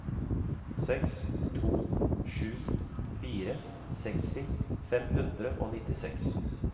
seks to sju fire seksti fem hundre og nittiseks